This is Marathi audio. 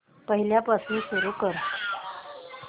पहिल्यापासून सुरू कर